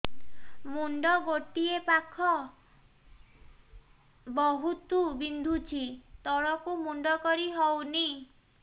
ମୁଣ୍ଡ ଗୋଟିଏ ପାଖ ବହୁତୁ ବିନ୍ଧୁଛି ତଳକୁ ମୁଣ୍ଡ କରି ହଉନି